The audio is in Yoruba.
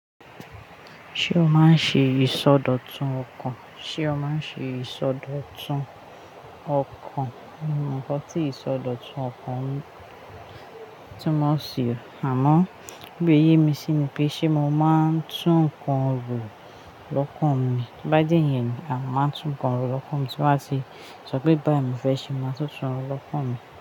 Ṣé o máa ń ṣe ìsọdọ̀tun ọkàn? Ṣé o máa ń ṣe ìsọdọ̀tun ọkàn? Mo mọ̀ nnkan ti ìsọdọ̀tun ọkàn mi túmọ̀ sí i, àmọ́ gbé iyè mi sí ní pé ṣe mo máa ń tún ǹnkan ro lọ́kàn mi. Bá je yen ni, à máa tún ǹnkan ro lọ́kàn mi tí baa tì sọ pé báyìí mo fẹ́ ṣe, màá tun tún ro lọ́kàn mi.